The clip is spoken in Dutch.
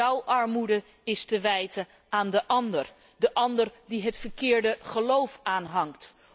Jouw armoede is te wijten aan de ander, de ander die het verkeerde geloof aanhangt.